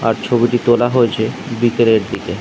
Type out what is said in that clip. আর ছবিটি তোলা হয়েছে বিকেলের দিকে ।